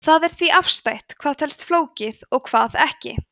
það er því afstætt hvað telst flókið og hvað ekki